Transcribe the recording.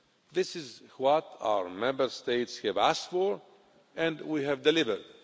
This is what our Member States have asked for, and we have delivered.